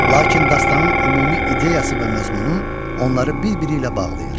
Lakin dastanın ümumi ideyası və məzmunu onları bir-biri ilə bağlayır.